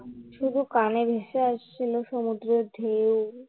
শুধু কানে ভেসে আসছিল সমুদ্রের ঢেউ